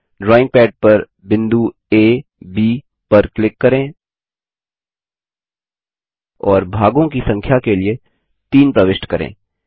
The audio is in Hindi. ड्रॉइंग पैड पर बिंदु आ B पर क्लिक करें और भागों की संख्या के लिए 3 प्रविष्ट करें